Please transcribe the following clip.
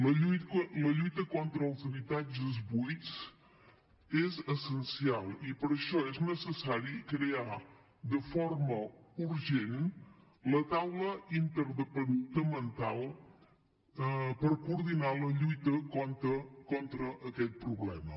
la lluita contra els habitatges buits és essencial i per això és necessari crear de forma urgent la taula interdepartamental per coordinar la lluita contra aquest problema